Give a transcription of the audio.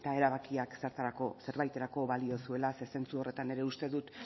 erabakiak zerbaiterako balio zuela ze zentzu horretan uste dut